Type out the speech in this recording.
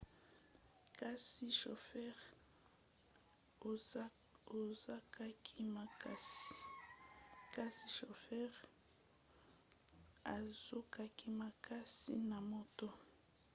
kasi shofere azokaki makasi na moto